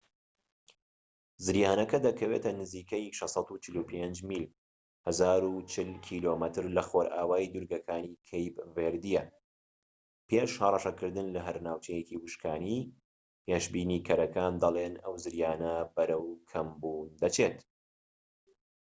زریانەکە دەکەوێتە نزیکەی 645 میل 1040 کم لەخۆرئاوای دوورگەکانی کەیپ ڤێردییە، پێش هەڕەشەکردن لەهەر ناوچەیەکی وشکانی، پێشبینیکەرەکان دەڵێن، ئەو زریانە بەرەو کەمبوون دەچێت‎